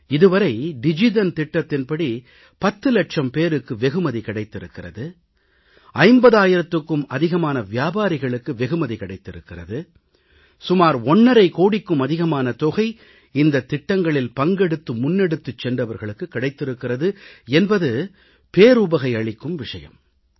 இது வரை டிஜிதன் திட்டத்தின்படி 10 இலட்சம் பேருக்கு வெகுமதி கிடைத்திருக்கிறது 50000க்கும் அதிகமான வியாபாரிகளுக்கு வெகுமதி கிடைத்திருக்கிறது சுமார் ஒண்ணரை கோடிக்கும் அதிகமான தொகை இந்தத் திட்டங்களில் பங்கெடுத்து முன்னெடுத்துச் சென்றவர்களுக்குக் கிடைத்திருக்கிறது என்பது பேருவகை அளிக்கும் விஷயம்